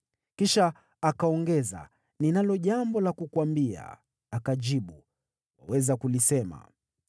Kisha akaongeza, “Ninalo jambo la kukuambia.” Akajibu, “Waweza kulisema.”